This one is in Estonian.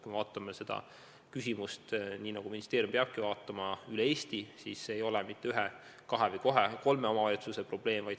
Kui me vaatame seda küsimust nii, nagu ministeerium peabki vaatama, üle Eesti, siis näeme, et see ei ole mitte ühe, kahe või kolme omavalitsuse probleem.